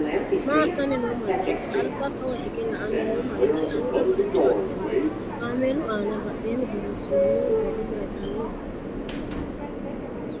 Maa assanni no mannaati? Alba kawa hige la"anni noo manchi anga maricho adhe no? Kaameelu aana badheenni borreessinoonni borro maytanno?